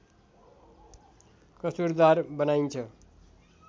कसुरदार बनाइन्छ